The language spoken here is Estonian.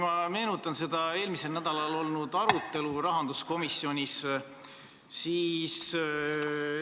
Ma meenutan seda eelmisel nädalal rahanduskomisjonis olnud arutelu.